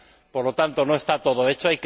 Por lo tanto, no está todo hecho.